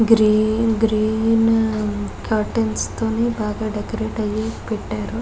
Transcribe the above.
Green green curtains తోని బాగా decorate అయి పెట్టారు.